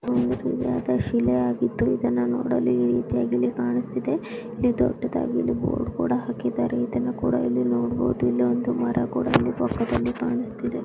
ಇದು ಒಂದು ಶಿಲೆಯಾಗಿದ್ದು ಇದನ್ನ ನೋಡಲು ಈ ರೀತಿಯಾಗಿ ಇಲ್ಲಿ ಕಾಣಿಸ್ತಾ ಇದೆ ದೊಡ್ಡದಾಗಿ ಇಲ್ಲಿ ಬೋರ್ಡ್ ಕೂಡಾ ಹಾಕಿದ್ದಾರೆ ಇದನ್ನು ಕೂಡ ಇಲ್ಲಿ ನೋಡಬಹುದು ಇಲ್ಲೊಂದು ಮರ ಕೂಡ ಇಲ್ಲಿ ಬಫೆನಲ್ಲಿ ಕಾಣಿಸ್ತಾ ಇದೆ.